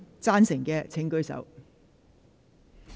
贊成的請舉手。